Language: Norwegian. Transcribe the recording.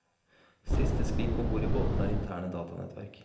Siste skrik om bord i båtene er interne datanettverk.